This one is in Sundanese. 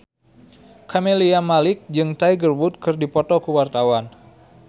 Camelia Malik jeung Tiger Wood keur dipoto ku wartawan